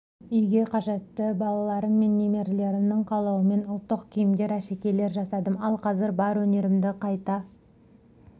үйге қажетті балаларым мен немерелерімнің қалауымен ұлттық киімдер әшекейлер жасадым ал қазір бар өнерімді қайта